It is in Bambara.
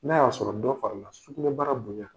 N'a y'a sɔrɔ dɔ farala sukoro bana bonya